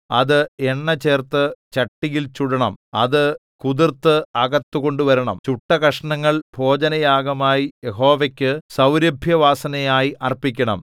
അത് എണ്ണചേർത്ത് ചട്ടിയിൽ ചുടണം അത് കുതിർത്ത് അകത്ത് കൊണ്ടുവരണം ചുട്ട കഷണങ്ങൾ ഭോജനയാഗമായി യഹോവയ്ക്കു സൗരഭ്യവാസനയായി അർപ്പിക്കണം